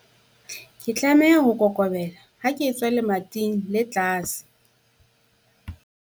Ke tlameha ho kokobela ha ke etswa lemating le tlase.